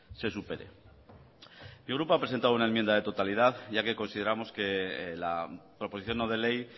se supere mi grupo ha presentado una enmienda de totalidad ya que consideramos que la proposición no de ley